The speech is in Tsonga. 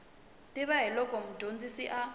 tiva hi loko mudyondzi a